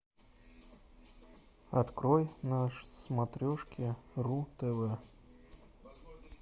открой на смотрешке ру тв